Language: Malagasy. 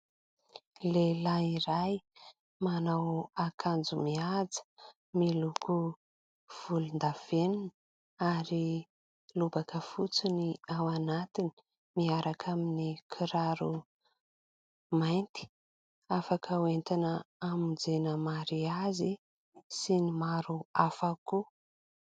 Lehilahy iray manao akanjo mihaja, miloko volondavenona, ary lobaka fotsy ny ao anatiny miaraka amin'ny kiraro mainty ; afaka hoentina hamonjena mariazy sy ny maro hafa koa.